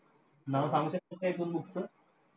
नावं सांगू शकतात का एक-दोन books चं?